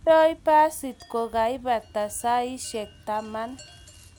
Mondoi basit ko kaibata saishek taman